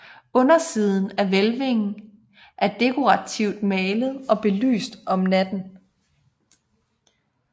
Undersiden af hvælvingen er dekorativt malet og oplyst om natten